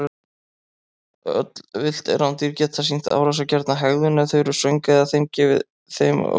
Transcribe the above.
Öll villt rándýr geta sýnt árásargjarna hegðun ef þau eru svöng eða þeim er ógnað.